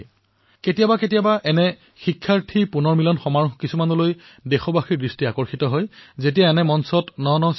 কিন্তু কেতিয়াবা কেতিয়াবা এনে সন্মিলন এক বিশেষ আকৰ্ষণৰ কেন্দ্ৰ হৈ পৰে আৰু দেশবাসীসকলেও ইয়াৰ ওপৰত গুৰুত্ব দিয়াটো প্ৰয়োজন